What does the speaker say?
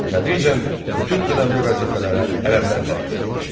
Tədricən bütün önəmli vəzifələrə ərəblər təyin edildi.